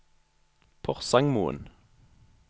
Porsangmoen